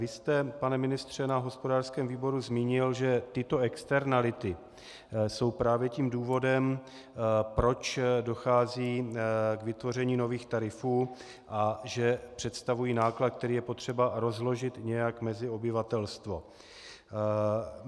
Vy jste, pane ministře, na hospodářském výboru zmínil, že tyto externality jsou právě tím důvodem, proč dochází k vytvoření nových tarifů, a že představují náklad, který je potřeba rozložit nějak mezi obyvatelstvo.